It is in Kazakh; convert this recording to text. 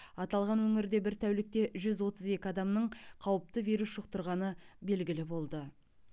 аталған өңірде бір тәулікте жүз отыз екі адамның қауіпті вирус жұқтырғаны белгілі болды